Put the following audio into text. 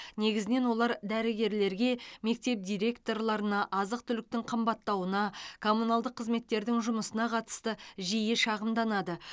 негізінен олар дәрігерлерге мектеп директорларына азық түліктің қымбаттауына коммуналдық қызметтердің жұмысына қатысты жиі шағымданады